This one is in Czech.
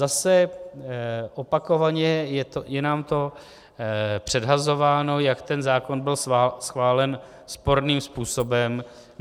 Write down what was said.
Zase opakovaně je nám to předhazováno, jak ten zákon byl schválen sporným způsobem.